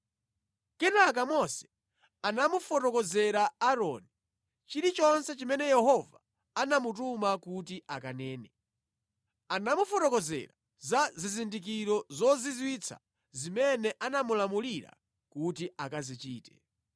Kenaka Mose anamufotokozera Aaroni chilichonse chimene Yehova anamutuma kuti akanene. Anamufotokozera za zizindikiro zozizwitsa zimene anamulamulira kuti akazichite.